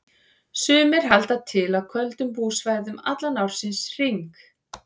Sumir halda til á köldum búsvæðum allan ársins hring.